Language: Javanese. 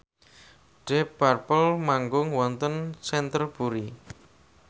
deep purple manggung wonten Canterbury